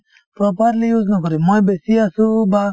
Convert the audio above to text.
properly use নকৰে মই বেছি আছো বা